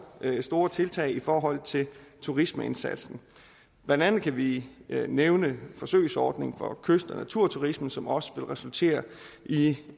store tiltag i forhold til turismeindsatsen blandt andet kan vi nævne forsøgsordningen for kyst og naturturismen som også vil resultere i